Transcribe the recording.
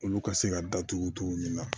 Olu ka se ka datugu cogo min na